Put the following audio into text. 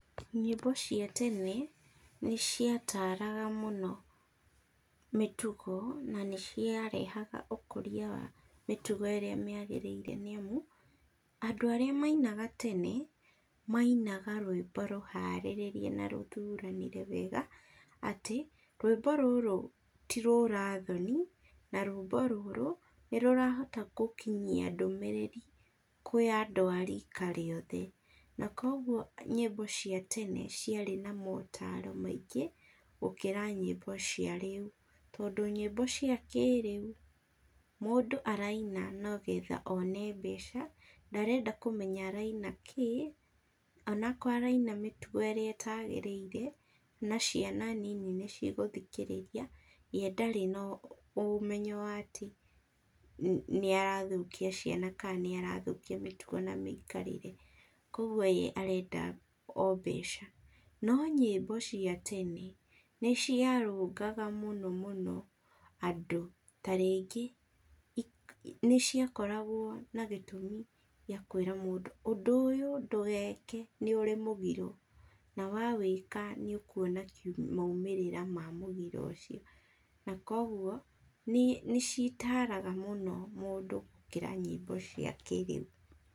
Nyĩmbo cia tene nĩciataraga mũno mĩtugo na nĩciarehaga ũkũria wa mĩtugo ĩrĩa yagĩrĩire nĩamu andũ aria mainaga tene mainaga rwĩmbo rũharĩrĩrie na rũthũranire wega atĩ rwĩmbo rũrũ ti urathoni na rwĩmbo rũrũ nĩ rũrahota gũkinyia ndũmĩriri kwĩ andũ a rika rĩothe, na kogũo nyĩmbo cia tene ciarĩ na motaro maingĩ gũkira nyĩmbo cia rĩũ, tondũ nyĩmbo cia kĩrĩũ mundũ araina nogetha one mbeca ndarenda kumenya araina kĩĩ onakorwo araina mĩtũgo ĩrĩa ĩtagĩrĩ-ire na ciana nini nĩciguthikarĩria we ndarĩ na ũmenyo atĩ nĩarathũkia ciana kana nĩarathũkia mĩtugo na mĩikarire . Kuguo we arenda oo mbeca, no nyĩmbo cia tene nĩciarungaga muno muno andũ, tarĩngĩ nĩciakoragwo na gĩtumi gĩkuĩra mũndũ undũ ũyũ ndũgeke nĩũrĩ mũgiro na wawĩka nĩũkuona maumĩrĩra ma mũgiro ũcio na kogũo nĩcitaraga mũno mũndũ gũkĩra nyĩmbo cia kĩrĩu.